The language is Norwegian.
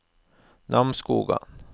Namsskogan